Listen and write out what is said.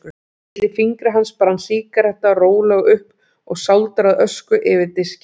Milli fingra hans brann sígaretta rólega upp og sáldraði ösku yfir diskinn.